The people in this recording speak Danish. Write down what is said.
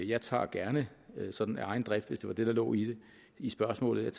jeg tager gerne sådan af egen drift hvis det var det der lå i i spørgsmålet